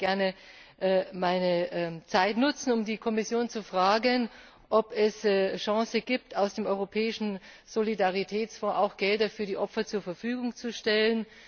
Ich würde gerne meine Zeit nutzen, um die Kommission zu fragen, ob es eine Chance gibt, aus dem Europäischen Solidaritätsfonds auch Gelder für die Opfer zur Verfügung zu stellen.